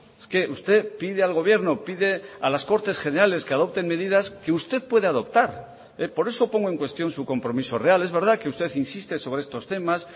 es que usted pide al gobierno pide a las cortes generales que adopten medidas que usted puede adoptar por eso pongo en cuestión su compromiso real es verdad que usted insiste sobre estos temas